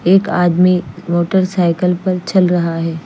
एक आदमी motorcycle पे चल रहा है।